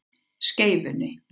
Skeifunni